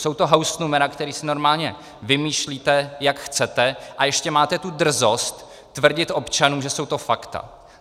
Jsou to hausnumera, která si normálně vymýšlíte, jak chcete, a ještě máte tu drzost tvrdit občanům, že jsou to fakta.